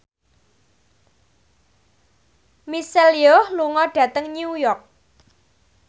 Michelle Yeoh lunga dhateng New York